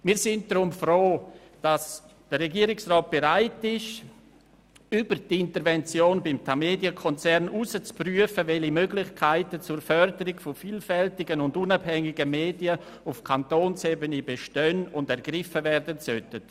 Wir sind deshalb froh, ist der Regierungsrat bereit, über die Intervention beim Tamedia-Konzern hinaus zu prüfen, welche Möglichkeiten zur Förderung von vielfältigen und unabhängigen Medien auf Kantonsebene bestehen und ergriffen werden sollten.